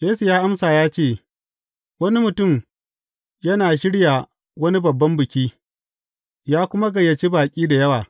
Yesu ya amsa ya ce, Wani mutum yana shirya wani babban biki, ya kuma gayyaci baƙi da yawa.